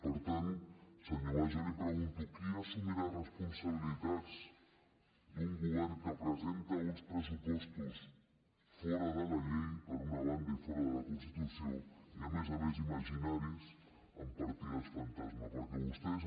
per tant senyor mas jo li pregunto qui assumirà responsabilitats d’un govern que presenta uns pressupostos fora de la llei per una banda i fora de la constitució i a més a més imaginaris amb partides fantasma perquè vostès